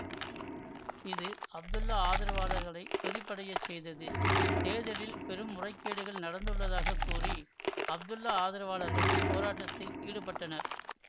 இது அப்துல்லா ஆதரவாளர்களை கொதிப்படையச் செய்தது தேர்தலில் பெரும்முறைகேடுகள் நடந்துள்ளதாக கூறி அப்துல்லா ஆதரவாளர்கள் போராட்டத்தில் ஈடுபட்டனர்